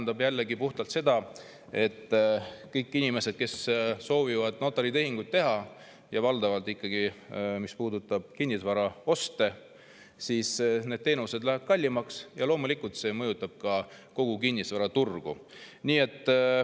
See tähendab puhtalt seda, et kõikide inimeste jaoks, kes soovivad notaritehinguid teha – ja valdavalt puudutab see ikkagi kinnisvaraoste –, lähevad need teenused kallimaks ja loomulikult mõjutab see ka kogu kinnisvaraturgu.